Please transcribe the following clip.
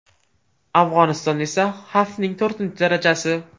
Afg‘onistonda esa xavfning to‘rtinchi darajasi.